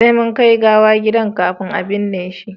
sai mun kai gawan gida kafin a binne shi